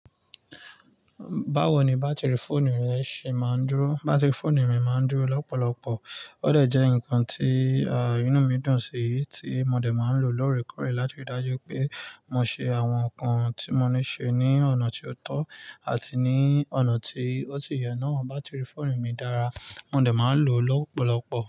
Báwo ni bátìrì fóònù rẹ ṣe máa ń dúró? Bátìrì fóònù mi má ń dúró lọ́pọ̀lọpọ̀. Ó dà jẹ́ ǹkan tí,, inú mi dùn sí, tí mo de má ń lò lóòrèkóòrè láti rí i dájú pé mo ṣe àwọn nǹkan tí mo ní ṣe ní ọ̀nà tí ó tọ́ àti ní ọ̀nà tí ó ti o si yẹ. Náà, bátìrì fóònù mi dára, mo de má ń lò o lọ́pọ̀lọpọ̀.